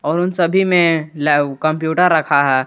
और उन सभी में लाइव कंप्यूटर रखा है।